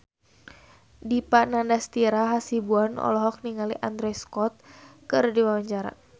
Dipa Nandastyra Hasibuan olohok ningali Andrew Scott keur diwawancara